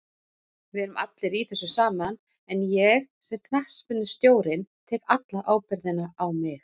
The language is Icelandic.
Við erum allir í þessu saman en ég, sem knattspyrnustjórinn, tek alla ábyrgðina á mig.